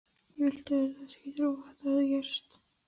Ég vildi auðvitað ekki trúa því að þetta hefði gerst.